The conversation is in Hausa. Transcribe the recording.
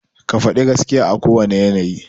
Ka faɗi gaskiya a kowane yanayi.